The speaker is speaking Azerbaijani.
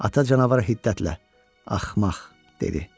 Ata canavar hiddətlə "Axmaq!" dedi.